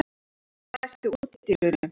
Húna, læstu útidyrunum.